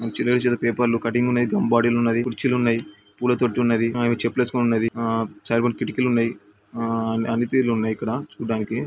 చిన్న చిన్న పేపర్లు కటింగ్ ఉన్నాయ్. గమ్ బాటిల్ ఉన్నది. కుర్చీలు ఉన్నాయ్. పూల తొట్టి ఉన్నది. ఆమె చెప్పులు ఏసుకుని ఉన్నది. ఆ సైబర్ కిటికీలు ఉన్నాయ్. ఆ అన్ని తీరులు ఉన్నయ్ ఇక్కడ చుడానికి--